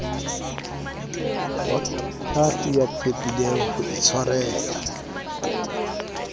waseithati ya tshepileng ho itshwarela